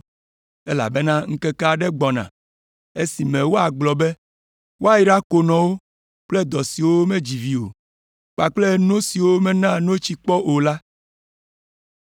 Elabena ŋkeke aɖewo gbɔna esime woagblɔ be, ‘Woayra konɔwo kple dɔ siwo medzi vi o kpakple no siwo mena notsi kpɔ o la!’